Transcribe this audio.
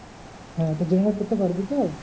হ্যাঁ তো generate করতে পারবি তো?